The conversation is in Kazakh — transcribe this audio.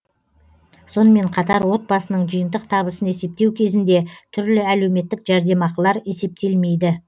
сонымен қатар отбасының жиынтық табысын есептеу кезінде түрлі әлеуметтік жәрдемақылар есептелмейді